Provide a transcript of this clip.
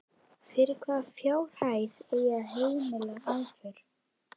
Fyrir hvaða fjárhæð eigi að heimila aðför?